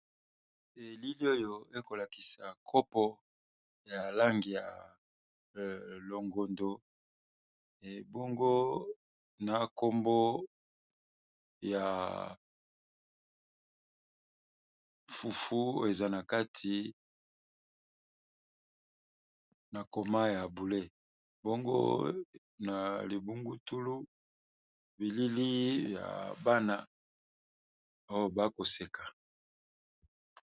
Elili oyo ekolakisa kopo ya langi ya longondo ebongo na kombo ya fufu eza na kati na koma ya boule bongo na libungutulu bilili ya bana bakoseka.